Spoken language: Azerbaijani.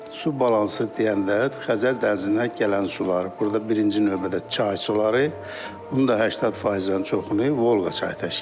Su balansı deyəndə Xəzər dənizinə gələn sular, burada birinci növbədə çay suları, bunu da 80%-dən çoxunu Volqa çayı təşkil edir.